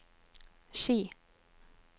Ski